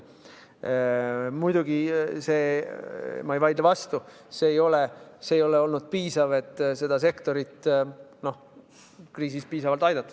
Muidugi, ma ei vaidle vastu, see ei ole olnud piisav, et seda sektorit kriisis aidata.